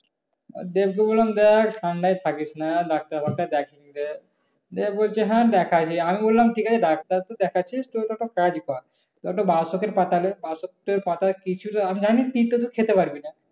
দেবরে বললাম দেখ ঠান্ডায় থাকিস না ডাক্তার মাক্তার দেখ। দেব বলছে হ্যাঁ দেখাইছি। আমি বললাম ঠিক আছে ডাক্তার তো দেখাচ্ছিস তুই তখন কাজ কর। কয়েকটা বাসতির পাতা নে বাসতির পাতা কিছুটা আমি জানি তিতে তুই খেতে পারবি না।